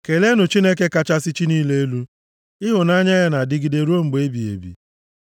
Keleenụ Chineke kachasị chi niile elu. Ịhụnanya ya na-adịgide ruo mgbe ebighị ebi.